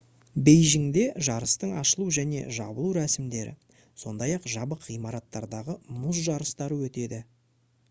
бейжіңде жарыстың ашылу және жабылу рәсімдері сондай-ақ жабық ғимараттардағы мұз жарыстары өтеді